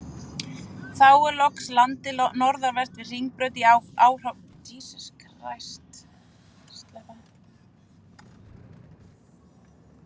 Þá er loks landið norðanvert við Hringbraut í áframhaldi af fyrrnefndri lóð.